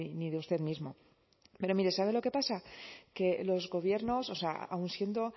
ni de usted mismo pero mire sabe lo que pasa que los gobiernos o sea aun siendo